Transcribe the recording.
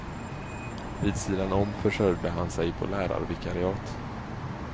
Vid sidan om försörjde han sig på lärarvikariat.